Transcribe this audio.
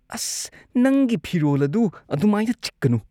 ꯑꯁ, ꯅꯪꯒꯤ ꯐꯤꯔꯣꯜ ꯑꯗꯨ ꯑꯗꯨꯃꯥꯏꯅ ꯆꯤꯛꯀꯅꯨ꯫